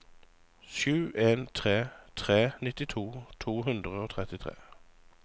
sju en tre tre nittito to hundre og trettitre